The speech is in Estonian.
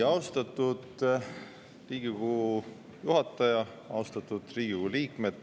Austatud Riigikogu liikmed!